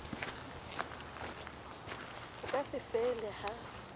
bo ka se fele ha